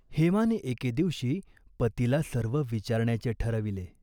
हेमाने एके दिवशी पतीला सर्व विचारण्याचे ठरविले.